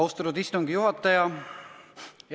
Austatud istungi juhataja!